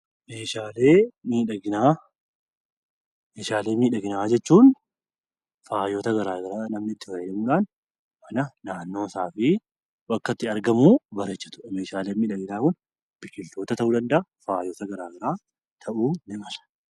Meeshaalee miidhaginaa jechuun faayota garaagaraa namni itti fayyadamudha. Wantoota naannoo isaatii akka itti bareechatudha. Meeshaaleen miidhaginaa kun bineeldota ta'uu danda'a.